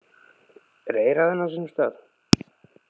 Er eyrað enn á sínum stað?